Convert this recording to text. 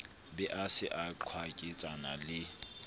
be a se a qwaketsana